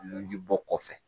Nunji bɔ kɔfɛ